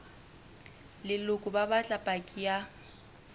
leloko ba batla paki ya